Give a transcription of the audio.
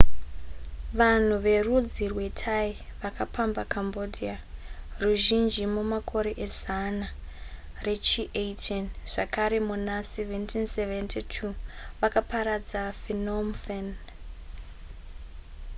vanhu verudzi rwethai vakapamba cambodia ruzhinji mumakore ezana rechi18 zvakare muna 1772 vakaparadza phnom phen